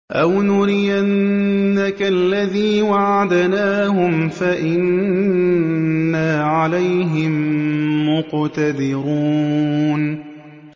أَوْ نُرِيَنَّكَ الَّذِي وَعَدْنَاهُمْ فَإِنَّا عَلَيْهِم مُّقْتَدِرُونَ